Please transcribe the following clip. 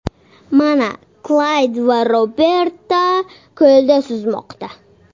Mana Klayd va Roberta ko‘lda suzmoqda.